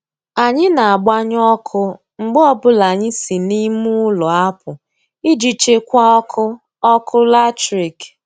Anyị na-agbanyụ ọkụ mgbe ọbụla anyị si n'ime ụlọ apụ iji chekwaa ọkụ ọkụ latrik.